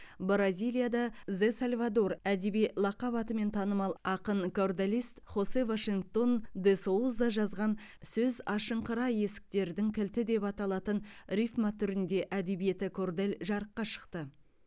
бразилияда зе сальвадор әдеби лақап атымен танымал ақын корделист хосе вашингтон де соуза жазған сөз ашыңқыра есіктердің кілті деп аталатын рифма түрінде әдебиеті кордель жарыққа шықты